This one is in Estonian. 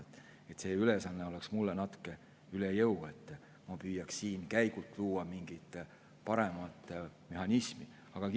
Mulle käiks see ülesanne natuke üle jõu, kui ma püüaks siin käigult mingit paremat mehhanismi luua.